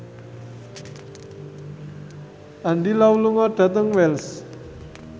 Andy Lau lunga dhateng Wells